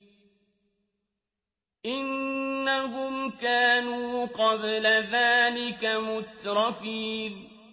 إِنَّهُمْ كَانُوا قَبْلَ ذَٰلِكَ مُتْرَفِينَ